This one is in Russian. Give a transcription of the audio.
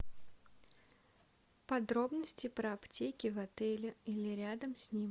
подробности про аптеки в отеле или рядом с ним